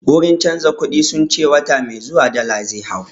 Wurin canza kuɗi sun ce wata mai zuwa dala zai hau